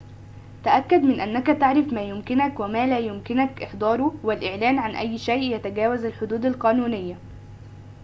تأكد من أنك تعرف ما يمكنك وما لا يمكنك إحضاره والإعلان عن أي شيء يتجاوز الحدود القانونية